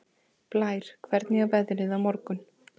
Blær, hvernig er veðrið á morgun?